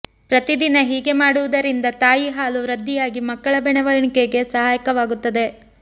ಪ್ರತಿದಿನ ಹೀಗೆ ಮಾಡುವುದರಿಂದ ತಾಯಿ ಹಾಲು ವೃದ್ಧಿಯಾಗಿ ಮಕ್ಕಳ ಬೆಳವಣಿಗೆಗೆ ಸಹಾಯಕವಾಗುತ್ತದೆ